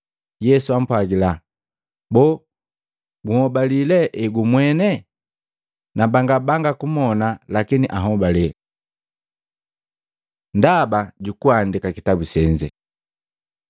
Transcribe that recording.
Yesu ampwagila, “Boo gunhobali le egumwene? Nambanga banga kubona, lakini ahobale.” Ndaba jukuandika kitabu senze